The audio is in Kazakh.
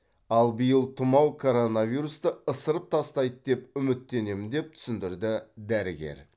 ал биыл тұмау коронавирусты ысырып тастайды деп үміттенемін деп түсіндірді дәрігер